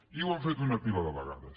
i ho han fet una pila de vegades